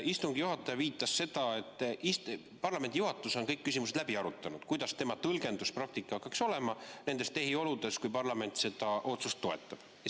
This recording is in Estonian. Istungi juhataja viitas sellele, et parlamendi juhatus on läbi arutanud kõik küsimused, kuidas tema tõlgenduspraktika hakkaks olema nendes tehioludes, kui parlament seda otsust toetab.